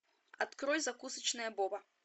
открой закусочная боба